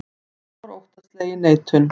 Það var óttaslegin neitun.